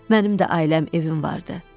Mənim də ailəm, evim vardı.